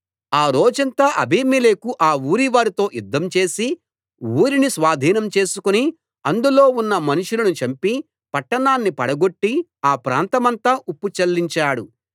ఆ రోజంతా అబీమెలెకు ఆ ఊరివారితో యుద్ధం చేసి ఊరిని స్వాధీనం చేసుకుని అందులో ఉన్న మనుషులను చంపి పట్టణాన్ని పడగొట్టి ఆ ప్రాంతమంతా ఉప్పు చల్లించాడు